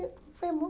Aí fomos.